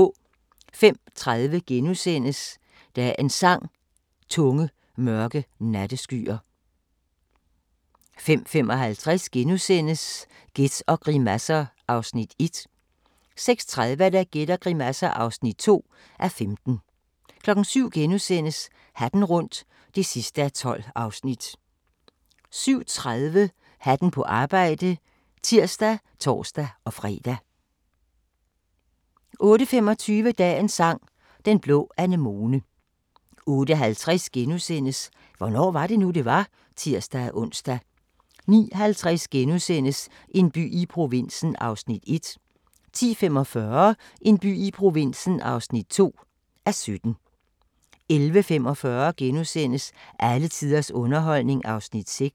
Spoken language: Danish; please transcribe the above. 05:30: Dagens Sang: Tunge, mørke natteskyer * 05:55: Gæt og grimasser (1:15)* 06:30: Gæt og grimasser (2:15) 07:00: Hatten rundt (12:12)* 07:30: Hatten på arbejde (tir og tor-fre) 08:25: Dagens Sang: Den blå anemone 08:50: Hvornår var det nu, det var? *(tir-ons) 09:50: En by i provinsen (1:17)* 10:45: En by i provinsen (2:17) 11:45: Alle tiders underholdning (6:8)*